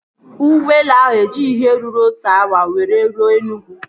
Ụgbọelu ahụ ejighị ihe ruru otu awa were ruo Enugwu